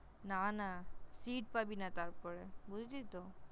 না না Seat পাবি না তারপরে । বুঝলি তো?